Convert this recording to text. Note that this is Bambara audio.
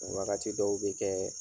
Wagati dɔw bɛ kɛ